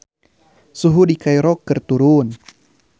Suhu di Kairo keur turun